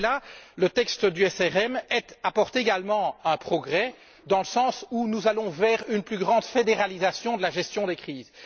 En effet, le texte du MRV apporte là également un progrès, dans le sens où nous allons vers une plus grande fédéralisation de la gestion des crises.